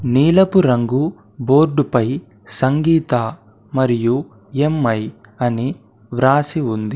నీలపు రంగు బోర్డు పై సంగీత మరియు ఎం_ఐ అని వ్రాసి ఉంది.